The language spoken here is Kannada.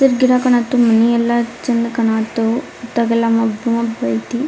ಸಿರ್ಫ್ ಗಿಡ ಕಾಣತು ಮನಿ ಅಲ್ಲಾ ಚಂದ್ ಕಾಣತು ಇಂತವೆಲ್ಲಾ ಮಬ್ಬ ಮಬ್ಬ ಆಯ್ತಿ.